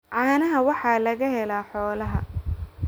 caanaha waxaa laga helaa xoolaha.